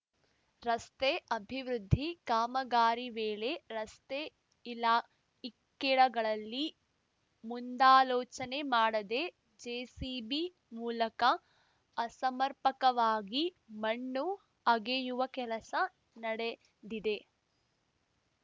ರಸ್ತೆ ಅಭಿವೃದ್ಧಿ ಕಾಮಗಾರಿ ವೇಳೆ ರಸ್ತೆ ಇಲ ಇಕ್ಕೆಲಗಳಲ್ಲಿ ಮುಂದಾಲೋಚನೆ ಮಾಡದೆ ಜೆಸಿಬಿ ಮೂಲಕ ಅಸಮರ್ಪಕವಾಗಿ ಮಣ್ಣು ಅಗೆಯುವ ಕೆಲಸ ನಡೆದಿದೆ